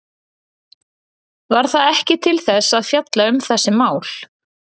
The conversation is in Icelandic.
Var það ekki til þess að fjalla um þessi mál?